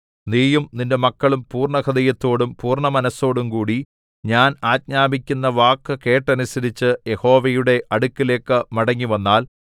നീയും നിന്റെ മക്കളും പൂർണ്ണഹൃദയത്തോടും പൂർണ്ണ മനസ്സോടുംകൂടി ഞാൻ ആജ്ഞാപിക്കുന്ന വാക്കു കേട്ടനുസരിച്ച് യഹോവയുടെ അടുക്കലേക്ക് മടങ്ങിവന്നാൽ